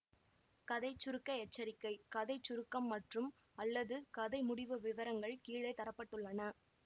கதை சுருக்க எச்சரிக்கை கதை சுருக்கம் மற்றும்அல்லது கதை முடிவு விவரங்கள் கீழே தர பட்டுள்ளன